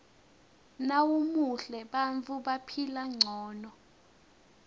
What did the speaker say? nawumuhle bantfu baphila ngcono